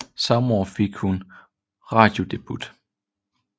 Samme år fik hun sin radiodebut